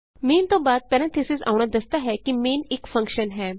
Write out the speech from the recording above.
main ਤੋਂ ਬਾਅਦ parentheses ਆਉਣਾ ਦੱਸਦਾ ਹੈ ਕਿ ਮੇਨ ਇਕ ਫੰਕਸ਼ਨ ਹੈ